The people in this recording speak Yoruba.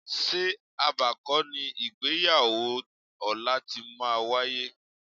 Ṣé Aba kọ́ ni ìgbéyàwó ọ̀la ti máa wáyé?